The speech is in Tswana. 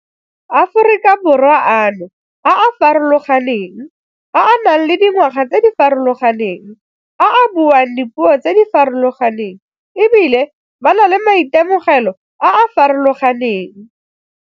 Aforika Borwa ano a a farologaneng, a a nang le dingwaga tse di farologaneng, a a buang dipuo tse di farologaneng e bile ba na le maitemogelo a a farologaneng.